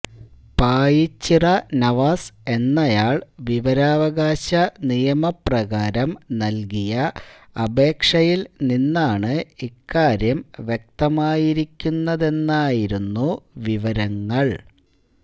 പായിച്ചിറ നവാസ് എന്നയാള് വിവരാവകാശ നിയമപ്രകാരം നല്കിയ അപേക്ഷയില് നിന്നാണ് ഇക്കാര്യം വ്യക്തമായിരിക്കുന്നതെന്നായിരുന്നു വിവരങ്ങള്